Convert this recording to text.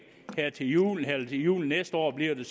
til jul eller til jul næste år bliver det